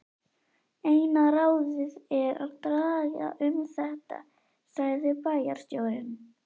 Eina ráðið er að draga um þetta sagði bæjarstjórinn.